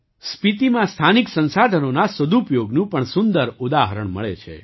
સ્પીતીમાં સ્થાનિક સંસાધનોના સદુપયોગનું પણ સુંદર ઉદાહરણ મળે છે